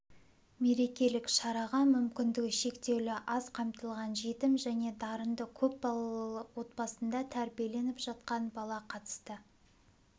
мерекелік шараға мүмкіндігі шектеулі аз қамтылған жетім және дарынды көп балалы отбасында тәрбиленіп жатқан бала қатысты